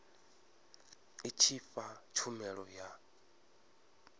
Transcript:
i tshi fha tshumelo ya